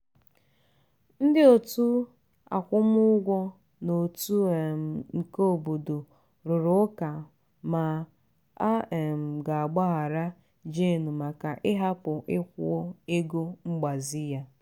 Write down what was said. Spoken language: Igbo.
ndị otu akwụmugwọ n'otu um nke obodo rụrụ ụka ma a um ga-agbaghara jane maka ịhapụ ikwụ ego mgbazi ya.